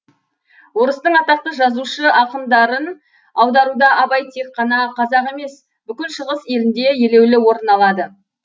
орыстың атақты жазушы ақындарын аударуда абай тек қана қазақ емес бүкіл шығыс елінде елеулі орын алады